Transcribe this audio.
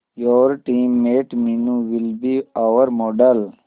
your team mate Meenu will be our model